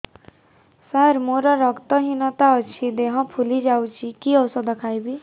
ସାର ମୋର ରକ୍ତ ହିନତା ଅଛି ଦେହ ଫୁଲି ଯାଉଛି କି ଓଷଦ ଖାଇବି